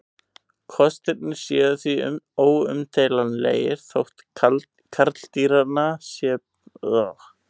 Kostirnir séu því óumdeilanlegir þótt karldýranna geti beði slæm örlög.